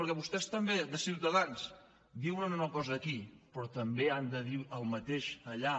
perquè vostès també de ciutadans diuen una cosa aquí però també han de dir el mateix allà